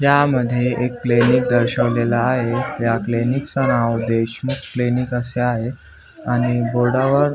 यामध्ये एक क्लिनिक दर्शवलेल आहे या क्लिनिक च नाव देशमुख क्लिनिक अस आहे आणि बोर्डावर --